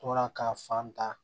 Tora ka fan ta